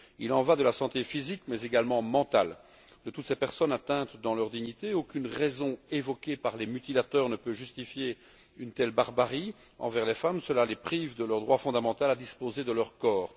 Il y va de la santé physique mais également mentale de toutes ces personnes atteintes dans leur dignité. Aucune raison invoquée par les mutilateurs ne peut justifier une telle barbarie envers les femmes. Cela les prive de leur droit fondamental à disposer de leur corps.